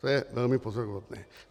To je velmi pozoruhodné.